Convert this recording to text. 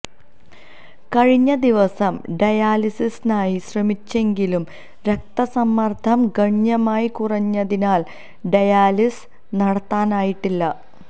കഴിഞ്ഞ ദിവസം ഡയാലിസിസിനായി ശ്രമിച്ചെങ്കിലും രക്തസമ്മര്ദ്ദം ഗണ്യമായി കുറഞ്ഞതിനാല് ഡയാലിസിസ് നടത്താനായിട്ടില്ല